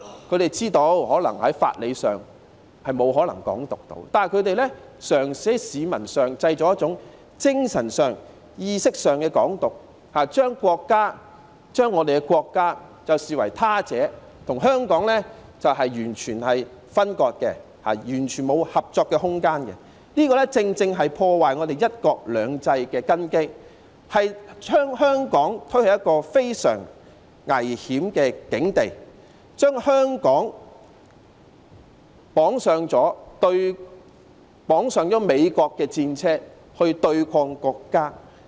他們知道在法理上沒有可能"港獨"，但他們嘗試在市民之間製造精神上、意識上的"港獨"，將國家視為他者，與香港完全分割，完全沒有合作的空間，這正正是破壞"一國兩制"的根基，將香港推向非常危險的境地，將香港綁上美國的戰車來對抗國家。